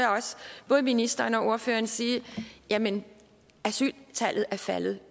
både ministeren og ordføreren sige at jamen asyltallet er faldet